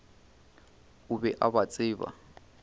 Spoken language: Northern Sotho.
o be a ba tseba